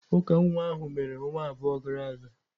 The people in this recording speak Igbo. Uka nwa ahụ mere ọnwa abụọ gara aga.